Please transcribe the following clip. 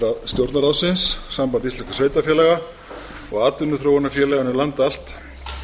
stjórnarráðsins samband íslenskra sveitarfélaga og atvinnuþróunarfélaganna um land allt